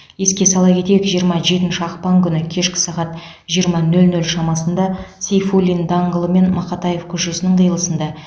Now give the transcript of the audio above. еске сала кетейік жиырма жетінші ақпан күні кешкі сағат жиырма нөл нөл шамасында сейфуллин даңғылы мен мақатаев көшесінің қиылысында